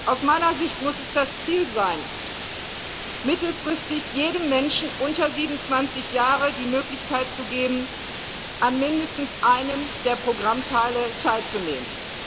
Aus meiner Sicht muss es das Ziel sein, mittelfristig jedem Menschen unter 27 Jahren die Möglichkeit zu geben, an mindestens einem der Programmteile teilzunehmen.